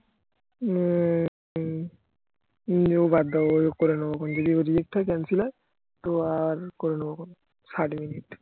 উম ও বাদ দেও ওই করেনেব যদি reject হয় cancel হয় তো আর করে নেবো সাইট মিনিট